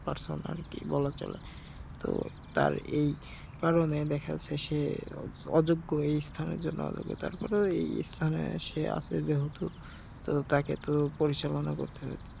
personality বলা চলে তো তার এই কারনে দেখা যাচ্ছে সে অযোগ্য এই স্থানের জন্য অযোগ্য তার পরেও এই স্থানে সে আছে যেহেতু তো তাকে তো পরিচালনা করতে হবে